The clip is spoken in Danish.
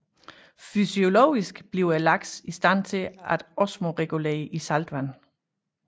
Fysiologisk bliver laksen i stand til at osmoregulere i saltvand